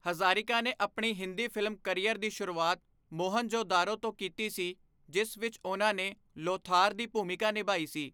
ਹਜ਼ਾਰਿਕਾ ਨੇ ਆਪਣੀ Hindi film career ਦੀ ਸ਼ੁਰੂਆਤ 'ਮੋਹਨਜਜੇਦਾਰੋ ' ਤੋਂ ਕੀਤੀ ਸੀ, ਜਿਸ ਵਿੱਚ ਉਨ੍ਹਾਂ ਨੇ 'ਲੋਥਾਰ' ਦੀ ਭੂਮਿਕਾ ਨਿਭਾਈ ਸੀ।